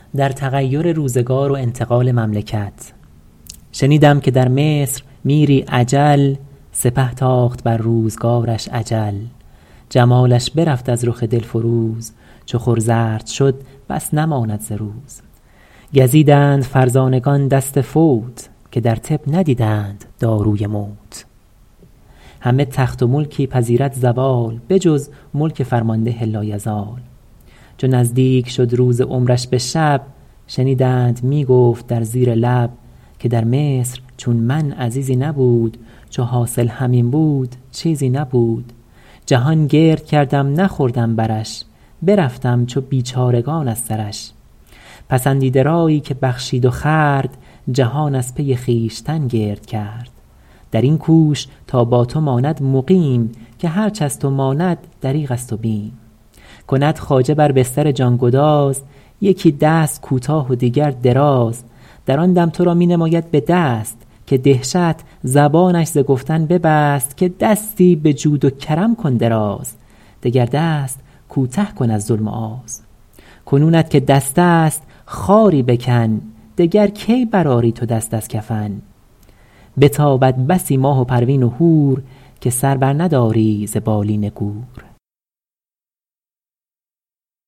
شنیدم که در مصر میری اجل سپه تاخت بر روزگارش اجل جمالش برفت از رخ دل فروز چو خور زرد شد بس نماند ز روز گزیدند فرزانگان دست فوت که در طب ندیدند داروی موت همه تخت و ملکی پذیرد زوال به جز ملک فرمانده لایزال چو نزدیک شد روز عمرش به شب شنیدند می گفت در زیر لب که در مصر چون من عزیزی نبود چو حاصل همین بود چیزی نبود جهان گرد کردم نخوردم برش برفتم چو بیچارگان از سرش پسندیده رایی که بخشید و خورد جهان از پی خویشتن گرد کرد در این کوش تا با تو ماند مقیم که هرچ از تو ماند دریغ است و بیم کند خواجه بر بستر جان گداز یکی دست کوتاه و دیگر دراز در آن دم تو را می نماید به دست که دهشت زبانش ز گفتن ببست که دستی به جود و کرم کن دراز دگر دست کوته کن از ظلم و آز کنونت که دست است خاری بکن دگر کی بر آری تو دست از کفن بتابد بسی ماه و پروین و هور که سر بر نداری ز بالین گور